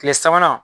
Kile sabanan